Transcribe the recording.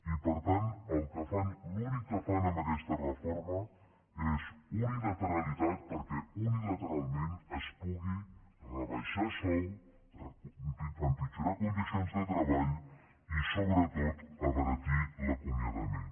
i per tant el que fan l’únic que fan amb aquesta reforma és unilateralitat perquè unilateralment es pugui rebaixar sou empitjorar condicions de treball i sobretot abaratir l’acomiadament